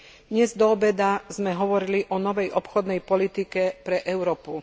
Dnes doobeda sme hovorili o novej obchodnej politike pre Európu.